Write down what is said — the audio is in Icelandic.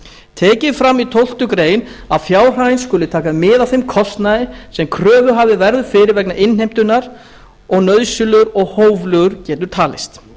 tekið er fram í tólftu greinar að fjárhæðin skuli taka mið af þeim kostnaði sem kröfuhafi verður fyrir vegna innheimtunnar og nauðsynlegur og hóflegur getur talist